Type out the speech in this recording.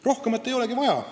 Rohkemat ei olegi vaja.